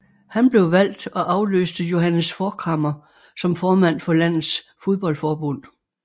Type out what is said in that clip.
Han blev valgt og afløste Johannes Forchhammer som formand for landets fodboldforbund